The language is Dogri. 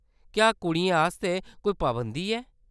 क्या कुड़ियें आस्तै कोई पाबंदी ऐ ?